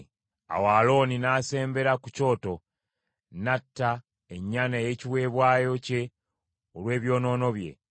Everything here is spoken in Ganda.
Awo Alooni n’asembera ku kyoto, n’atta ennyana ey’ekiweebwayo kye olw’ebyonoono bye.